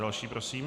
Další prosím.